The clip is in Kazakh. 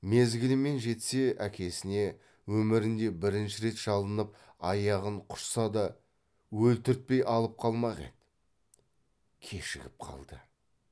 мезгілімен жетсе әкесіне өмірінде бірінші рет шалынып аяғын құшса да өлтіртпей алып қалмақ еді кешігіп қалды